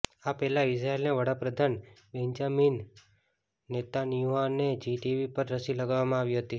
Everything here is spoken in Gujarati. આ પહેલા ઈઝરાયેલના વડાપ્રધાન બેન્જામિન નેતાન્યાહુને જી ટીવી પર રસી લગાવવામાં આવી હતી